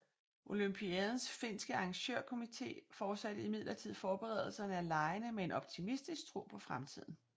Olympiadens finske arrangørkomité fortsatte imidlertid forberedelserne af legene med en optimistisk tro på fremtiden